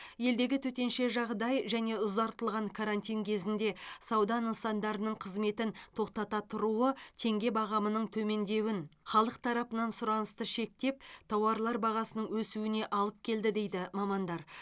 елдегі төтенше жағдай және ұзартылған карантин кезінде сауда нысандарының қызметін тоқтата тұруы теңге бағамының төмендеуін халық тарапынан сұранысты шектеп тауарлар бағасының өсуіне алып келді дейді мамандар